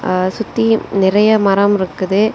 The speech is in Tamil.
ஆ சுத்தி நறைய மரம் இருக்குது.